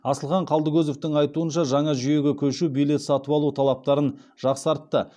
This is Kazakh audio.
асылхан қалдыкозовтың айтуынша жаңа жүйеге көшу билет сатып алу талаптарын жақсартты